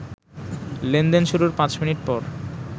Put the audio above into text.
লেনদেন শুরুর ৫ মিনিট পর